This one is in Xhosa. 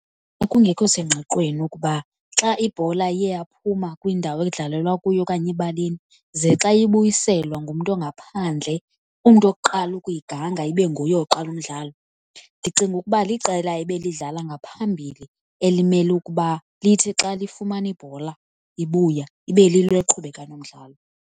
Kwakungekho senqqwiqweni ukuba xa ibhola iye yaphuma kwindawo edlalelwa kuyo okanye ebaleni, ze xa ibuyiselwa ngumntu ongaphandle, umntu wokuqala ukuyiganga ibe nguye oqala umdlalo. Ndicinga ukuba liqela ebelidlala ngaphambili elimele ukuba lithi xa lifumana ibhola ibuya, ibe lilo eliqhubeka nomdlalo.